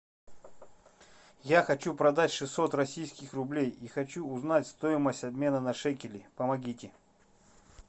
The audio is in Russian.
я хочу продать шестьсот российских рублей и хочу узнать стоимость обмена на шекели помогите